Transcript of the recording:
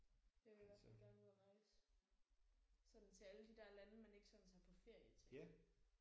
Jeg vil i hvert fald gerne ud og rejse sådan til alle de der lande man ikke sådan tager på ferie til